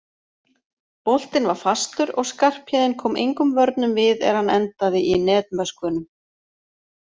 Boltinn var fastur og Skarphéðinn kom engum vörnum við er hann endaði í netmöskvunum.